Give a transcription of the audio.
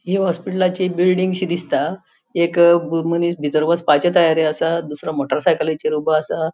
हि हॉस्पिलाची बिल्डिंगशी दिसता एक मनिस भितर वसपाच्या तयारि असा दूसरों मोटर साइकलीचेर ऊबो असा.